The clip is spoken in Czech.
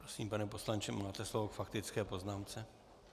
Prosím, pane poslanče, máte slovo k faktické poznámce.